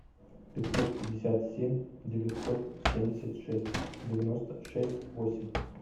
пятьсот пятьдесят семь девятьсот семьдесят шесть девяносто шесть восемь